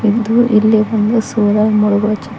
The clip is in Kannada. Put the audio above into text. ಒಂದು ಇಲ್ಲಿ ಒಂದು ಸೂರ್ಯ ಮುಳಗುವ ಚಿತ್ರ.